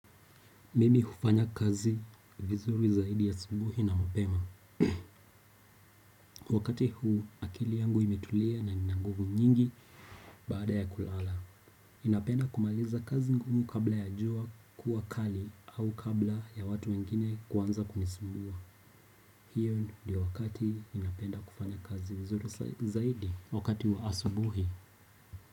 Mimi hufanya kazi vizuri zaidi asubuhi na mapema. Wakati huu akili yangu imetulia na nina nguvu nyingi baada ya kulala. Ninapenda kumaliza kazi ngumu kabla ya jua kuwa kali au kabla ya watu wengine kuanza kunisumbua. Hiyo ndio wakati ninapenda kufanya kazi vizuri zaidi wakati wa asubuhi.